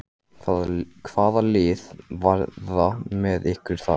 Hvaða lið verða með ykkur þar?